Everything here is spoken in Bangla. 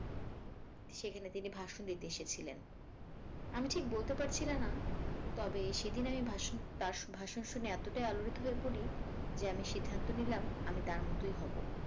সেখানে তিনি ভাষন দিতে এসেছিলেন আমি ঠিক বলতে পারছিলাম না তবে সেদিন আমি তার ভাষ~ভাষন শুনে এতটাই আলোড়িত হয়ে পড়ি যে আমি সিদ্ধান্ত নিলাম আমি তার মতই হবো